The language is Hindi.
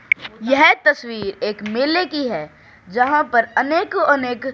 यह तस्वीर एक मेले की है जहां पर अनेको अनेक--